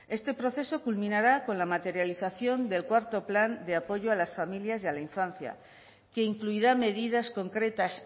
este proceso culminará con la materialización del cuarto plan de apoyo a las familias y a la infancia que incluirá medidas concretas